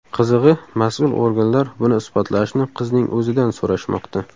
Qizig‘i, mas’ul organlar buni isbotlashni qizning o‘zidan so‘rashmoqda.